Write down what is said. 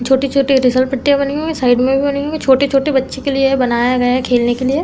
छोटी छोटी फिसलपट्टियां बनी हुई हैं साइड में भी बनी हुई हैं। छोटे छोटे बच्चे के लिए बनाया गया है खेलने के लिए।